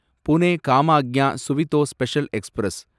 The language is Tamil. Pune Kamakhya Suvidha special express